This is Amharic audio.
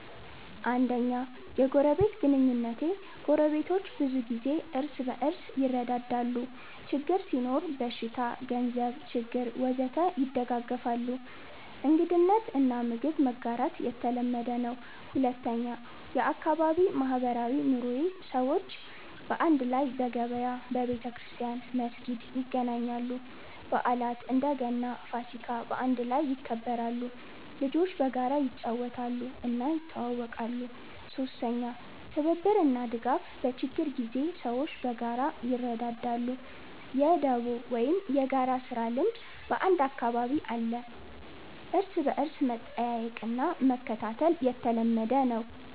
1. የጎረቤት ግንኙነቴ ጎረቤቶች ብዙ ጊዜ እርስ በርስ ይረዳዳሉ ችግር ሲኖር (በሽታ፣ ገንዘብ ችግር ወዘተ) ይደጋገፋሉ እንግድነት እና ምግብ መጋራት የተለመደ ነው 2. የአካባቢ ማህበራዊ ኑሮዬ ሰዎች በአንድ ላይ በገበያ፣ በቤተክርስቲያን/መስጊድ ይገናኛሉ በዓላት (እንደ ገና፣ ፋሲካ) በአንድ ላይ ይከበራሉ ልጆች በጋራ ይጫወታሉ እና ይተዋወቃሉ 3. ትብብር እና ድጋፍ በችግር ጊዜ ሰዎች በጋራ ይረዳዳሉ የ“ደቦ” ወይም የጋራ ስራ ልምድ በአንዳንድ አካባቢ አለ እርስ በርስ መጠየቅ እና መከታተል የተለመደ ነው